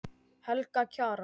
Helga Kjaran.